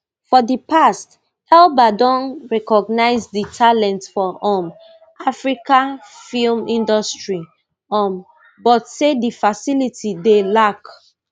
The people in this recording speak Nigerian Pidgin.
for di past elba don recognise di talent for um africa film industry um but say di facilities dey lack